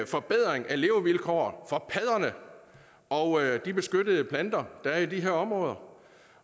forbedring af levevilkår for padderne og de beskyttede planter der er i de her områder